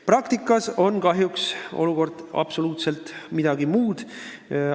Praktikas on olukord kahjuks absoluutselt midagi muud.